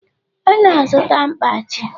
Ọ na-azụta mkpachi